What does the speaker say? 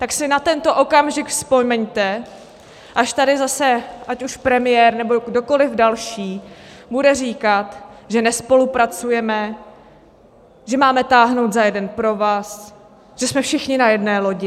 Tak si na tento okamžik vzpomeňte, až tady zase ať už premiér nebo kdokoliv další bude říkat, že nespolupracujeme, že máme táhnout za jeden provaz, že jsme všichni na jedné lodi.